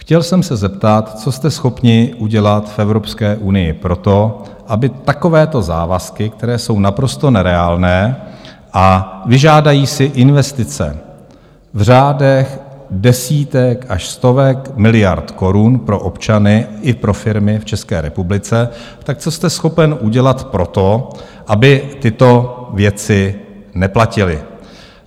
Chtěl jsem se zeptat, co jste schopni udělat v Evropské unii pro to, aby takovéto závazky, které jsou naprosto nereálné a vyžádají si investice v řádech desítek až stovek miliard korun pro občany i pro firmy v České republice, tak co jste schopen udělat pro to, aby tyto věci neplatily.